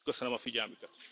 Köszönöm a figyelmüket!